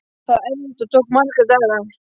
Það var erfitt og tók marga daga.